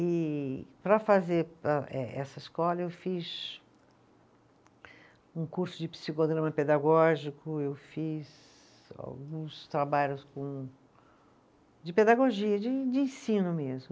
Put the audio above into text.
E para fazer a eh, essa escola eu fiz um curso de psicodrama pedagógico, eu fiz alguns trabalhos com, de pedagogia, de de ensino mesmo.